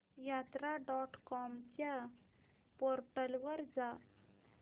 यात्रा dot com च्या portal वर जा